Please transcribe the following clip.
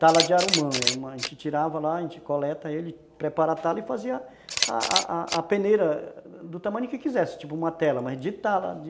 Tala de arumã, a gente tirava lá, a gente coleta ele, prepara a tala e fazia a a peneira do tamanho que quisesse, tipo uma tela, mas de tala, de...